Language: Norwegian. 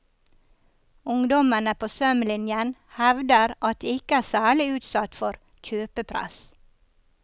Ungdommene på sømlinjen hevder at de ikke er særlig utsatt for kjøpepress.